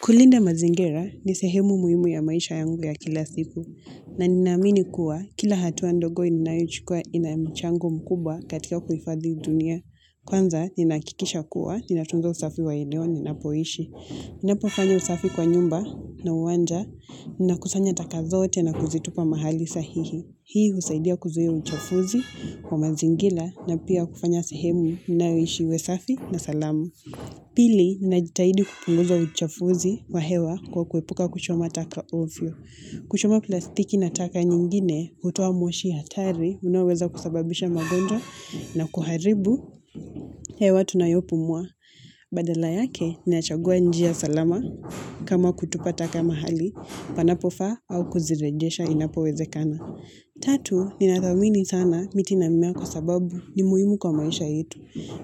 Kulinda mazingira ni sehemu muhimu ya maisha yangu ya kila siku na ninaamini kuwa kila hatua ndogo ninayochukua ina mchango mkubwa katika kuhifadhi dunia. Kwanza ninahakikisha kuwa, ninatunga usafi wa eneo ninapoishi. Ninapofanya usafi kwa nyumba na uwanja, ninakusanya taka zote na kuzitupa mahali sahihi. Hii husaidia kuzuia uchafuzi wa mazingira na pia kufanya sehemu ninayoishi uwe safi na salama. Pili, ninajitahidi kupunguza uchafuzi wa hewa kwa kuepuka kuchoma taka ovyo. Kuchoma plastiki na taka nyingine, hutua moshi hatari, unaoweza kusababisha magonjwa na kuharibu, hewa tunayopumua. Badala yake, nachagua njia salama kama kutupa taka mahali panapofaa au kuzirejesha inapowezekana. Tatu, ninathamini sana miti na mmea kwa sababu ni muhimu kwa maisha yetu.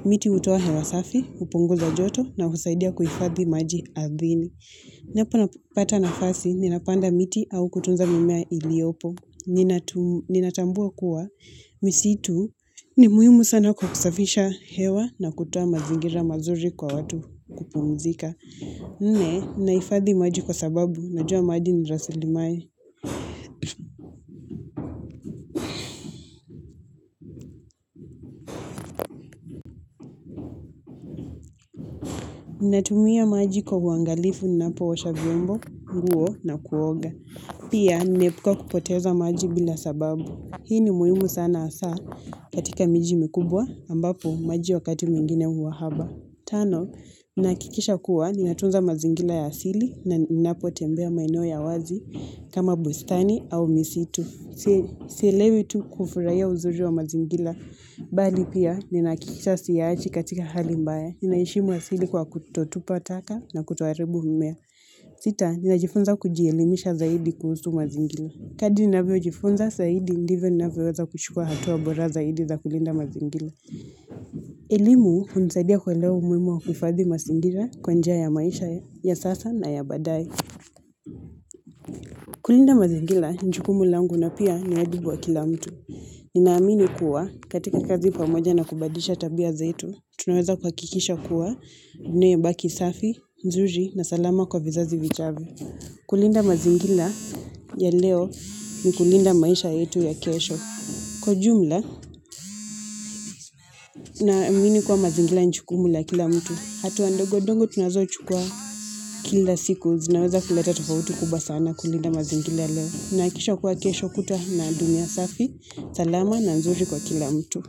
Miti hutoa hewa safi, hupunguza joto na husaidia kuhifadhi maji ardhini. Ninapopata nafasi, ninapanda miti au kutunza mimea iliopo. Ninatambua kuwa, misitu ni muhimu sana kwa kusafisha hewa na kutoa mazingira mazuri kwa watu kupumzika. Nne, ninahifadhi maji kwa sababu, najua maji ni rasilimali. Ninatumia maji kwa uangalifu, ninapoosha vyombo, nguo na kuoga. Pia, ninaepuka kupoteza maji bila sababu. Hii ni muhimu sana hasaa katika miji mikubwa ambapo maji wakati mwingine huwa haba. Tano, ninahakikisha kuwa ninatunza mazingira ya asili na ninapotembea maeneo ya wazi kama bustani au misitu. Sielewi tu kufurahiya uzuri wa mazingira, bali pia, ninahakikisha siyaachi katika hali mbaya. Ninaheshimu asili kwa kutotupa taka na kutoharibu mimea. Sita, ninajifunza kujielimisha zaidi kuhusu mazingira. Kadri ninavyojifunza zaidi, ndivyo ninavyoweza kuchukua hatua bora zaidi za kulinda mazingira. Elimu, hunisaidia kuelewa umuhimu wa kufadhi mazingira kwa njia ya maisha ya sasa na ya baadaye. Kulinda mazingira, ni jukumu langu na pia ni wajibu wa kila mtu. Ninaamini kuwa katika kazi pamoja na kubadilisha tabia zetu, tunaweza kuhakikisha kuwa dunia ibaki safi, nzuri na salama kwa vizazi vijavyo. Kulinda mazingira ya leo ni kulinda maisha yetu ya kesho. Kwa jumla, naamini kuwa mazingira ni jukumu la kila mtu. Hatua ndogo ndogo tunazochukua kila siku zinaweza kuleta tufauti kubwa sana kulinda mazingira leo. Inahakikisha kuwa kesho kutwa tuna dunia safi salama na nzuri kwa kila mtu.